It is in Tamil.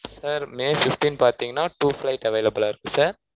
sir may fifteen பாத்திங்கனா two flight available லா இருக்கு sir